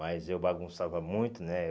Mas eu bagunçava muito, né?